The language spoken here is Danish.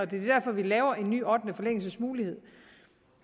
det er derfor vi laver en ny ottende forlængelsesmulighed